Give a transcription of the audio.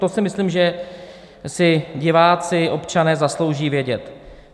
To si myslím, že si diváci, občané zaslouží vědět.